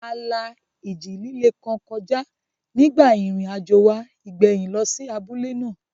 A la ìjì líle kan kọjá nígbà ìrìnàjò wa ìgbẹ̀yìn lọ sí abúlé náà